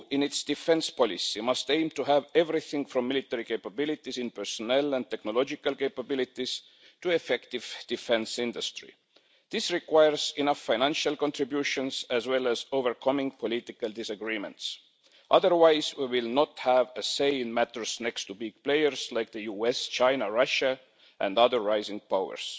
So the EU, in its defence policy, must aim to have everything from military capabilities in personnel and technological capabilities to an effective defence industry. This requires enough financial contributions and overcoming political disagreements, otherwise we will not have a say in matters next to big players like the US, China, Russia and other rising powers.